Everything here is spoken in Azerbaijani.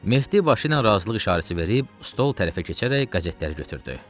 Mehdi başı ilə razılıq işarəsi verib, stol tərəfə keçərək qəzetləri götürdü.